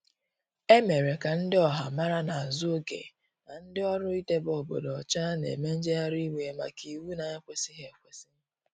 Emere ka ndi ọha mara n'azu oge n' ndi ọrụ idebe obodo ocha n'eme njegharị iwe maka iwụ na ekwesighi ekwesi.